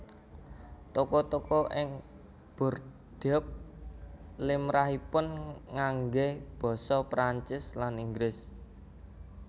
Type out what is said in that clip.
Toko toko ing Bordeaux limrahipun nganggé basa Prancis lan Inggris